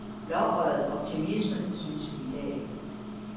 Blåøjet optimisme, synes vi i dag.